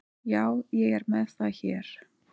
Já, ég er með það hér.